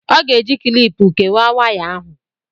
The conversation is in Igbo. ọ ga-eji kịlịpù kewàà waya ahụ